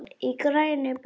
Í grænni blokk